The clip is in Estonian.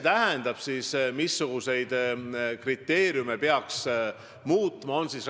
Nüüd, missuguseid kriteeriume peaks siis muutma?